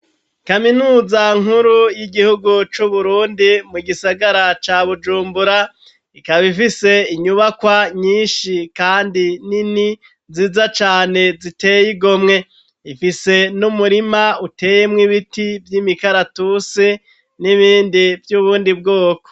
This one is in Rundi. Kaminuza nkuru y'igihugu c'uburundi, mu gisagara ca bujumbura ,ikaba ifise inyubakwa nyinshi ,kandi nini ziza cane ziteye igomwe, ifise n'umurima uteye mw'ibiti vy'imikaratusi ,n'ibindi vy'ubundi bwoko.